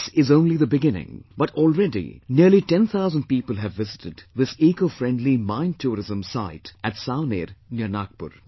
This is only the beginning, but already nearly 10,000 people have visited this Ecofriendly Minetourism site at Savaner near Nagpur